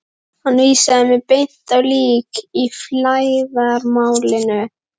Hann vísaði mér beint á lík í flæðarmálinu.